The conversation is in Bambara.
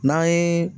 N'an ye